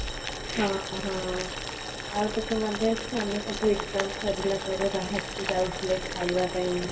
ହଁ ଆଉ ତୋତେ ମାନେ ଅଛି ଆମେ ସବୁ exam ସରିଲା ପରେ ବାହାରକୁ ଯାଉଥିଲେ ଖାଇବା ପାଇଁ